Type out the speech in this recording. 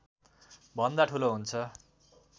भन्दा ठूलो हुन्छ